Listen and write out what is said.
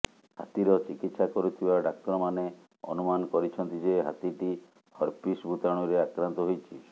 ହାତୀର ଚିକିତ୍ସା କରୁଥିବା ଡାକ୍ତରମାନେ ଅନୁମାନ କରିଛନ୍ତି ଯେ ହାତୀଟି ହର୍ପିସ୍ ଭୂତାଣୁରେ ଆକ୍ରାନ୍ତ ହୋଇଛି